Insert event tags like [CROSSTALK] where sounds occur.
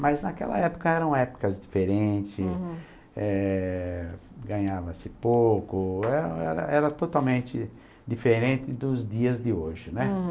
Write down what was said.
Mas naquela época eram épocas diferente, uhum, eh... ganhava-se pouco, [UNINTELLIGIBLE] era totalmente diferente dos dias de hoje, né? Uhum.